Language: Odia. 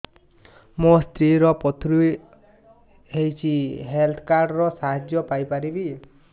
ମୋ ସ୍ତ୍ରୀ ର ପଥୁରୀ ହେଇଚି ହେଲ୍ଥ କାର୍ଡ ର ସାହାଯ୍ୟ ପାଇପାରିବି